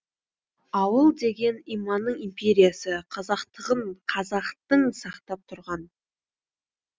ауыл деген иманның империясы қазақтығын қазақтың сақтап тұрған